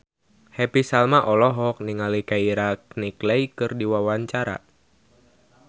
Happy Salma olohok ningali Keira Knightley keur diwawancara